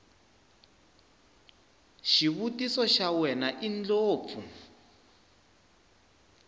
xivutiso xa wena indlopfu